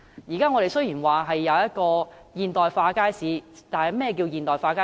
現在雖說我們設有現代化的街市，但何謂現代化街市？